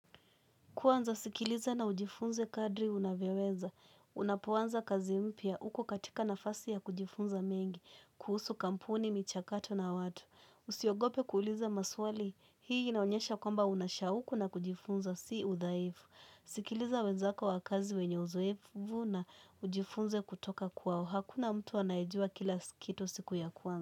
Kwanza sikiliza na ujifunze kadri unavyoweza, unapoanza kazi mpya uko katika nafasi ya kujifunza mengi, kuhusu kampuni, michakato na watu. Usiogope kuuliza maswali, hii inaonyesha kwamba unashauku na kujifunza, si udhaifu. Sikiliza wenzako wa wakazi wenye uzoefu na ujifunze kutoka kwao, hakuna mtu anayejua kila kitu siku ya kwanza.